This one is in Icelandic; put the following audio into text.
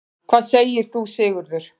Hvað segir þú, Sigurður?